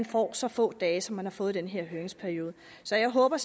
får så få dage som de har fået i den her høringsperiode så jeg håber